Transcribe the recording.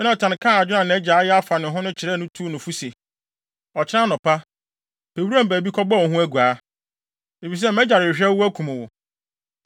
Yonatan kaa adwene a nʼagya ayɛ afa ne ho no kyerɛɛ no tuu no fo se, “Ɔkyena anɔpa, pɛ wuram baabi kɔbɔ wo ho aguaa, efisɛ mʼagya rehwehwɛ wo akum wo.